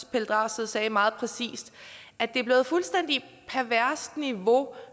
pelle dragsted sagde meget præcist at det er blevet et fuldstændig perverst niveau